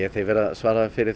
þeir verða að svara fyrir